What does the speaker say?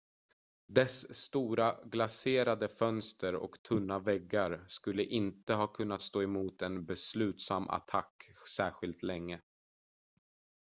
dess stora glaserade fönster och tunna väggar skulle inte ha kunnat stå emot en beslutsam attack särskilt länge